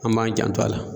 An b'an janto a la